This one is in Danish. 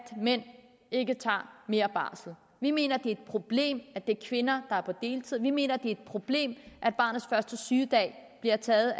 mænd ikke tager mere barsel vi mener det er et problem at det er kvinder der er på deltid vi mener det er et problem at barnets første sygedag bliver taget